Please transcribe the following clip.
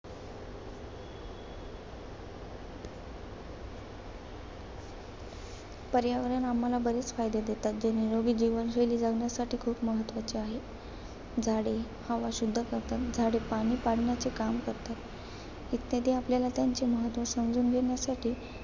पर्यावरण आम्हाला बरेच फायदे देतात. जे निरोगी जीवनशैली जगण्यासाठी खूप महत्त्वाचे आहेत. झाडे हवा शुद्ध करतात. झाडे पाने पाडण्याचे काम करतात. इत्यादी आपल्याला त्याचे महत्त्व समजून घेण्यासाठी